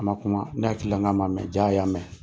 A man kuma ne hakili la n k'a man mɛ jaa a y'a mɛn.